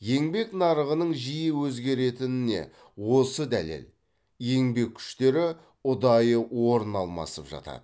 еңбек нарығының жиі өзгеретініне осы дәлел еңбек күштері ұдайы орын алмасып жатады